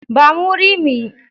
Ba mu wuri mu yi.